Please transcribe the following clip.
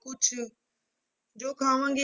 ਕੁਛ, ਜੋ ਖਾਵਾਂਗੇੇ